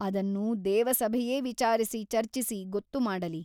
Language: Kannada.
ಅದನ್ನು ದೇವಸಭೆಯೇ ವಿಚಾರಿಸಿ ಚರ್ಚಿಸಿ ಗೊತ್ತು ಮಾಡಲಿ.